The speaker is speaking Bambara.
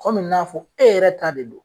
Kɔmi n'a fɔ e yɛrɛ ta de don